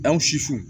An susu